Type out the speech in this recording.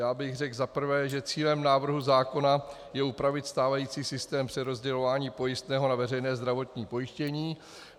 Já bych řekl za prvé, že cílem návrhu zákona je upravit stávající systém přerozdělování pojistného na veřejné zdravotní pojištění.